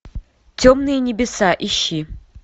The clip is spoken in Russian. темные небеса ищи